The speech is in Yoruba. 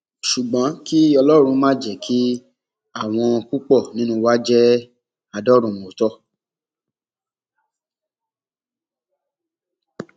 ṣùgbọn kí ọlọrun má jẹ kí àwọn púpọ nínú wa jẹ adọrùnmọọtọ